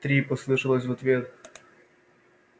три послышалось в ответ